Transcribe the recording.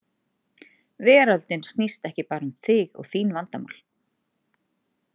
Veröldin snýst ekki bara um þig og þín vandamál.